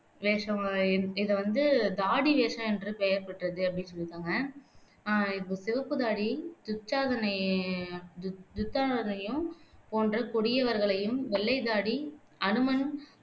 வேஷமா இத வந்து தாடி வேஷம் என்று பெயர் பெற்றது அப்படி சொல்லிருக்காங்க ஆஹ் இப்போ சிவப்புத் தாடி துச்சாதன துச்சாதனனையும் போன்ற கொடியவர்களையும், வெள்ளைத்தாடி அனுமன்